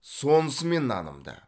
сонысымен нанымды